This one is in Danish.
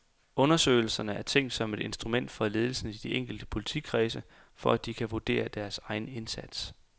Undersøgelserne er tænkt som et instrument for ledelsen i de enkelte politikredse, for at de kan vurdere deres egen indsats.